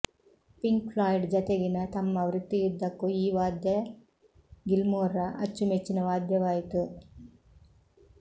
pink Floyd ಜೊತೆಗಿನ ತಮ್ಮ ವೃತ್ತಿಯುದ್ದಕ್ಕೂ ಈ ವಾದ್ಯ ಗಿಲ್ಮೊರ್ರ ಅಚ್ಚುಮೆಚ್ಚಿನ ವಾದ್ಯವಾಯಿತು